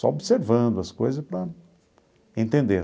Só observando as coisas para entender.